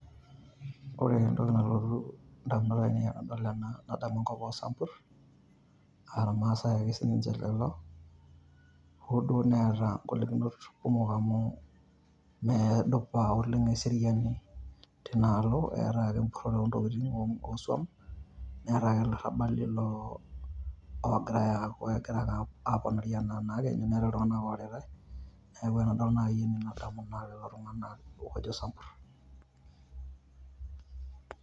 Ore entoki nalotu in`damunot ainei tenadol ena nadamu enkop oo sampurr aa ilmaasae ake sii ninche lelo . Hoo duo neeta ng`olikinot kumok amu meedupa oleng eseriani tinaalo, eetae ake empurrore oo ntokitin oo swam. Neetae ake illarabali oogirai loo aaku egira ake eponari naake enaa nekenyu, neetai iltung`anak oaritai. Niaku tenadol naaji enen nadamu lelo tung`anak oojo isampurr.